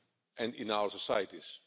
and in our societies.